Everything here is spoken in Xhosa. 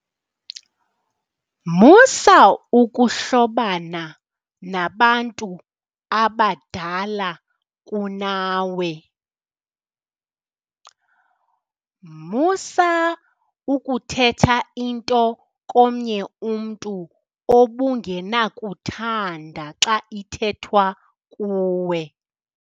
Musa ukuhlobana nabantu abadala kunawe. Musa ukuthetha into komnye umntu obungenakuthanda xa ithethwa kuwe.